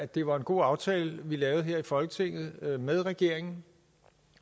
det var en god aftale vi lavede her i folketinget med regeringen